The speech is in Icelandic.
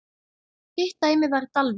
Hitt dæmið var í Dalvík.